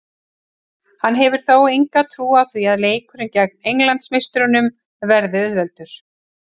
Hann hefur þó enga trú á því leikurinn gegn englandsmeisturunum verði auðveldur.